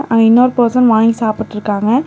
அங்க இன்னோர் பர்சன் வாங்கி சாப்பிட்டுருக்காங்க.